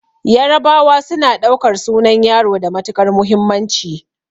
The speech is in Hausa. Yarabawa suna ɗaukar sunan yaro da matuƙar muhimmanci